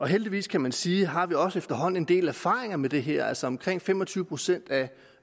heldigvis kan man sige har vi også efterhånden en del erfaringer med det her altså omkring fem og tyve procent af